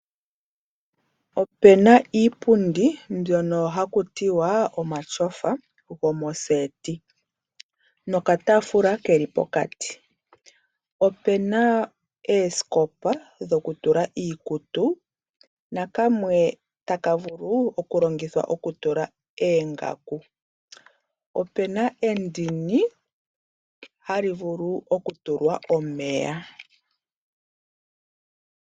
Ope na iipundi mbyono haku tiwa omatyofa go moseti nokataafula ke li pokati. Ope na oosikopa dhokutula iikutu na kamwe taka vulu okulongithwa okutulwa oongaku. Ope na endini hali vulu okutulwa omeya.